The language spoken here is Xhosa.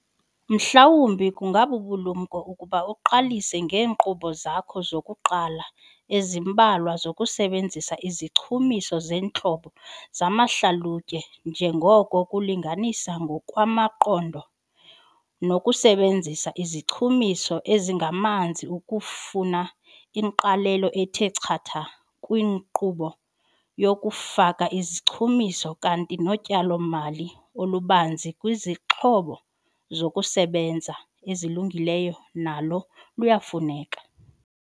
Mhlawumbi kungabubulumko ukuba uqalise ngeenkqubo zakho zokuqala ezimbalwa zokusebenzisa izichumiso zeentlobo zamahlalutye njengoko ukulinganisa ngokwamaqondo nokusebenzisa izichumiso ezingamanzi kufuna ingqalelo ethe chatha kwinkqubo yokufaka izichumiso kanti notyalo-mali olubanzi kwizixhobo zokusebenza ezilungileyo nalo luyafuneka.